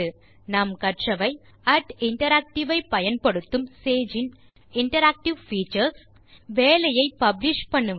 இந்த டியூட்டோரியல் இல் நாம் கற்றவை interact ஐ பயன்படுத்தும் சேஜ் இன் இன்டராக்டிவ் பீச்சர்ஸ் வேலையை பப்ளிஷ் செய்வது